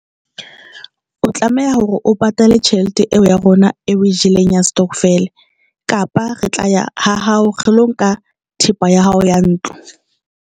O tlameha hore o patale tjhelete eo ya rona eo e jeleng ya stokvel kapa re tla ya ha hao re lo nka thepa ya hao ya ntlo.